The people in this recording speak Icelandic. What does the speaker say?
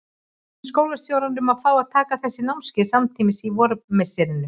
Bað hann skólastjórann um að fá að taka þessi námskeið samtímis á vormisserinu.